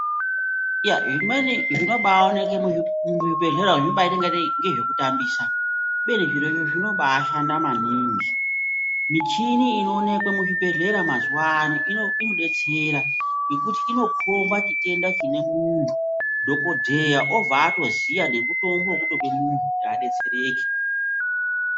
Iya zvimweni zvinobaoneke muzvibhedhlera umwo zvinobaita kungatei ngezvekutambisa kubeni zvirozvo zvinobashanda maningi. Michini inoonekwa muzvibhedhlera mazuwano inodetsera ngokuti inokomba chitenda chine muntu dhokodheya obva atoziya nemutombo wekutope muntu kuti adetsereke.